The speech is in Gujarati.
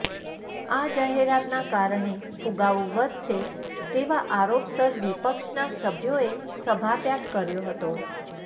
આ જાહેરાતના કારણે ફુગાવો વધશે તેવા આરોપસર વિપક્ષના સભ્યોએ સભાત્યાગ કર્યો હતો